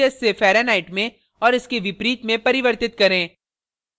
celsius से fahrenheit में और इसके विपरीत में परिवर्तित करें